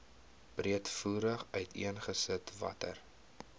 breedvoerig uiteengesit watter